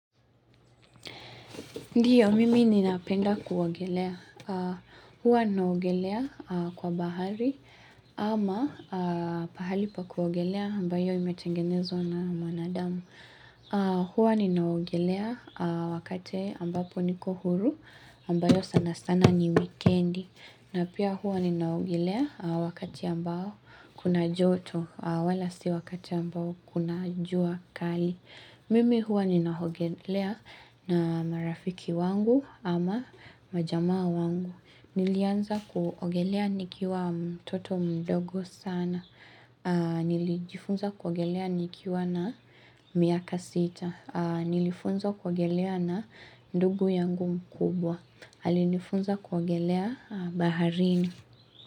Ndiyo, mimi ninapenda kuogelea. Hua naogelea kwa bahari ama pahali pa kuogelea ambayo imetengenezwa na mwanadamu. Hua ninaogelea wakate ambapo niko huru ambayo sana sana ni wikendi. Na pia hua ninaogelea wakati ambao kuna joto wala si wakati ambao kuna jua kali. Mimi huwa nina hogelea na marafiki wangu ama majamaa wangu. Nilianza kuogelea nikiwa mtoto mdogo sana. Nilijifunza kuogelea nikiwa na miaka sita. Nilifunzwa kuogelea na ndugu yangu mkubwa. Alinifunza kuogelea baharini.